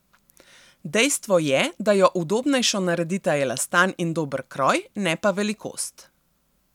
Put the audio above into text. Dejstvo je, da jo udobnejšo naredita elastan in dober kroj, ne pa velikost.